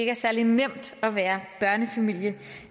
er særlig nemt at være børnefamilie